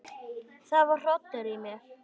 Það var hrollur í mér.